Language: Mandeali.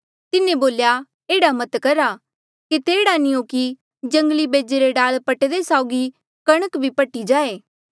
तिन्हें बोल्या एह्ड़ा मत करा केते एह्ड़ा नी हो कि जंगली बेजे रे डाल पट्टदे साउगी कणक भी पट्ठी जाए